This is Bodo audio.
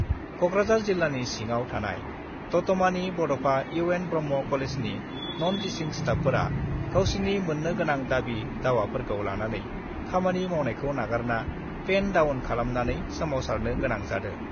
कक्राझार जिल्लानि सिङाव थानाय दतमानि बड'फा इउ एन ब्रह्म कलेजनि नन टिसिं स्टाफफोरा गावसिनि मोन्नो गोनां दाबि-दावाफोरखौ लानानै खामानि मावनायखौ नागारना पेन डाउन खालामना सोमावसारनो गोनां जादों।